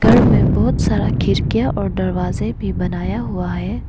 घर में बहोत सारा खिड़कियां और दरवाजे भी बनाया हुआ है।